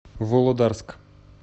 володарск